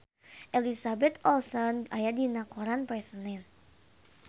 Elizabeth Olsen aya dina koran poe Senen